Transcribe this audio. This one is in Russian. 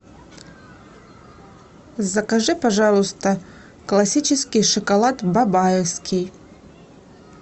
закажи пожалуйста классический шоколад бабаевский